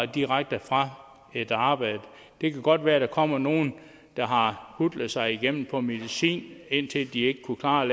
direkte fra et arbejde det kan godt være at der kommer nogle der har hutlet sig igennem på medicin indtil de ikke kunne klare